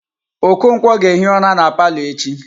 Okonkwo ga-ehi ụra na palọ echi.